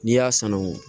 N'i y'a sanangun